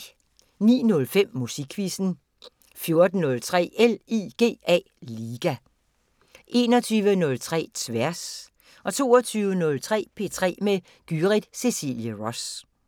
09:05: Musikquizzen 14:03: LIGA 21:03: Tværs 22:03: P3 med Gyrith Cecilie Ross